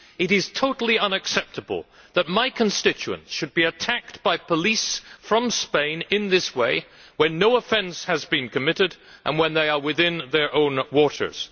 It is totally unacceptable that my constituent should have been attacked by police from Spain in this way when no offence has been committed and when he was not within their waters.